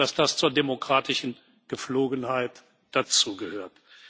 Ich glaube, dass das zur demokratischen Gepflogenheit dazu gehört.